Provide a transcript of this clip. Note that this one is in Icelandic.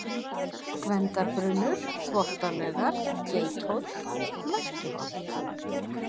Gvendarbrunnur, Þvottalaugar, Geithóll, Merkiholt